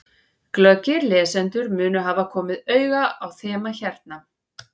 Glöggir lesendur munu hafa komið auga á þema hérna.